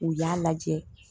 U y'a lajɛ